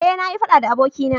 eh na yi faɗa da abokina